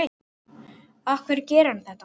Af hverju gerir hann þetta?